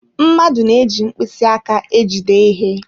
Mmadụ na-eji mkpịsị aka ejide ihe.